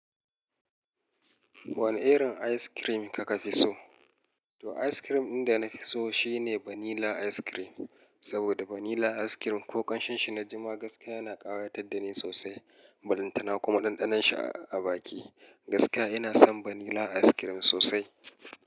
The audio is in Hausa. Wane irin ice cream kaka fi so? To ice cream ɗin da na fi so shine vanilla ice cream. Saboda vanilla ice cream ko ƙan shinshi na jima gaskiya yana ƙayatar da ni sosai. Ballan tana kuma ɗanɗanon shi a baki. Gaskiya ina son vanilla ice cream sosai.